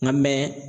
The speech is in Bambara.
Nka mɛ